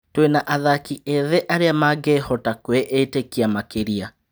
Twĩ na athaki ethĩ arĩ a mangĩ hota kwĩ ĩ tĩ kia makĩ ria.